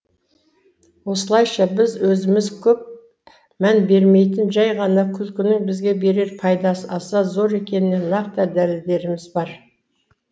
осылайша біз өзіміз көп мән бермейтін жай ғана күлкінің бізге берер пайдасы аса зор екеніне нақты дәлелдеріміз бар